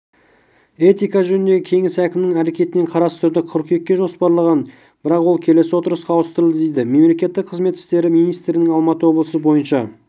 этика жөніндегі кеңес әкімнің әрекетін қарастыруды қыркүйекке жоспарлаған бірақ ол келесі отырысқа ауыстырылды дейді мемлекеттік қызмет істері министрлігінің алматы облысы бойынша